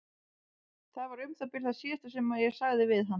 Það var um það bil það síðasta sem ég sagði við hann.